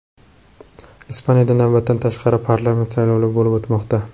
Ispaniyada navbatdan tashqari parlament saylovlari bo‘lib o‘tmoqda.